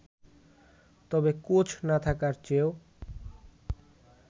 তবে কোচ না থাকার চেয়েও